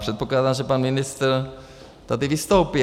Předpokládám, že pan ministr tady vystoupí.